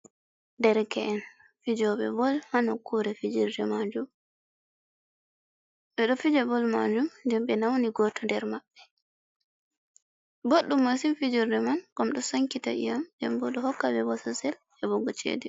Derke’en fijooɓe bol, haa nokkure fijirde bol maajum nden ɓe na'uni goto nder maɓɓe, boɗɗum masin fijirde man, ngam ɗo sankita i'yam, ndenbo ɗo hokka ɓe bosesel heɓugo chede.